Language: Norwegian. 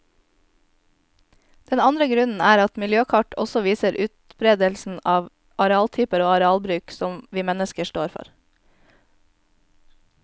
Den andre grunnen er at miljøkart også viser utberedelsen av arealtyper og arealbruk som vi mennesker står for.